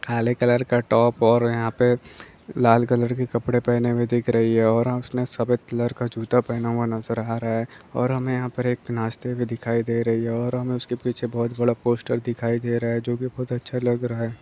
काले कलर का टॉप और यहाँ पे लाल कलर के कपड़े पेहने हुए दिख रही है और उसने सफेद कलर का जूता पेहना हुआ नजर आ रहा है और हमे यहाँ पर एक नाचते हुए दिखाई दे रही है और हमे उसके पीछे बहुत बड़ा पोस्टर दिखाई दे रहा है। जोकि बहुत अच्छा लग रहा है।